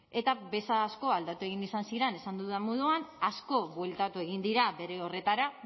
eta bez asko aldatu egin izan ziren esan dudan moduan asko bueltatu egin dira bere horretara